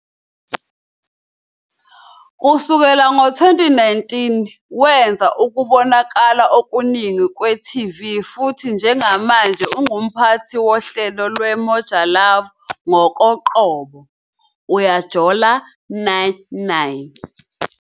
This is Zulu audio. Kusukela ngo-2019, wenze ukubonakala okuningi kwe-TV futhi njengamanje ungumphathi wohlelo lweMoja Love ngokoqobo, "Uyajola 9, 9."